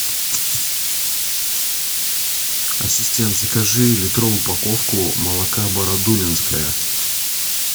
ассистент закажи литровую упаковку молока бородулинское